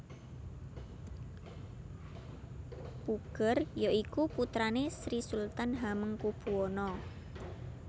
Puger ya iku putrane Sri Sultan Hamengkubuwana